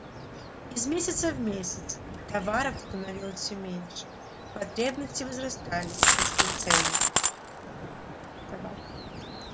из месяца в месяц товаров становилось всё меньше потребности возрастали росли цены товар